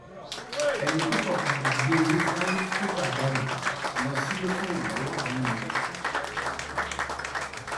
ẹni tó fọkadà gbé e sáré kẹgbajarè um lọ sílé fún ìrànlọwọ um àwọn èèyàn